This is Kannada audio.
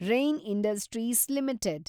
rain Industries limited